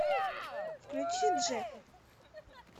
включи джефф